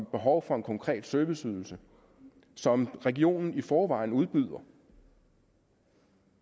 behov for en konkret serviceydelse som regionen i forvejen udbyder